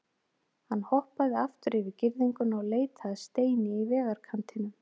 Hann hoppaði aftur yfir girðinguna og leitaði að steini í vegarkantinum.